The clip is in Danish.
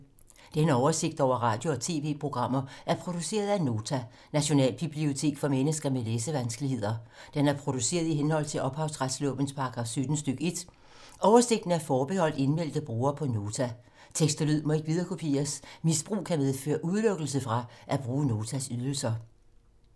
Denne oversigt over radio og TV-programmer er produceret af Nota, Nationalbibliotek for mennesker med læsevanskeligheder. Den er produceret i henhold til ophavsretslovens paragraf 17 stk. 1. Oversigten er forbeholdt indmeldte brugere på Nota. Tekst og lyd må ikke viderekopieres. Misbrug kan medføre udelukkelse fra at bruge Notas ydelser.